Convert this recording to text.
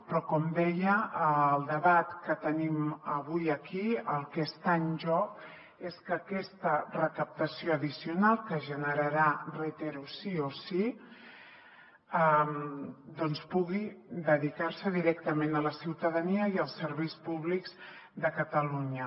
però com deia al debat que tenim avui aquí el que està en joc és que aquesta recaptació addicional que es generarà ho reitero sí o sí pugui dedicarse directament a la ciutadania i als serveis públics de catalunya